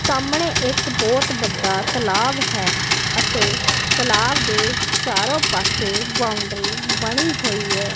ਸਾਹਮਣੇ ਇੱਕ ਬਹੁਤ ਬੱਡਾ ਤਲਾਬ ਹੈ ਅਤੇ ਤਲਾਬ ਦੇ ਚਾਰੋਂ ਪਾਸੇ ਬਾਉਂਡਰੀ ਬਣੀ ਹੋਈ ਐ।